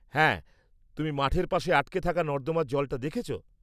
হ্যাঁ, তুমি মাঠের পাশে আটকে থাকা নর্দমার জলটা দেখেছ?